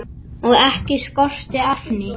Og ekki skorti efni.